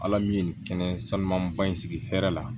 Ala min ye nin kɛnɛ sanuba in sigi hɛrɛ la